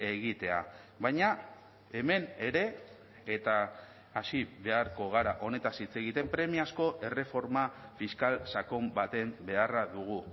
egitea baina hemen ere eta hasi beharko gara honetaz hitz egiten premia asko erreforma fiskal sakon baten beharra dugu